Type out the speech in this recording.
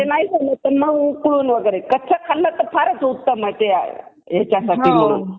आश्मयुगी तेथील उत्खनात सापडले होते यावरूनच आपल्याला लक्षात येते की कोणीतरी रूपात मानवी वस्ती तेथे असावी मात्र